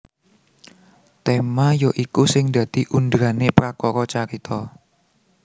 Tema ya iku sing dadi underane prakara carita